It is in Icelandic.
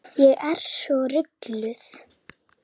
Ég er svo rugluð.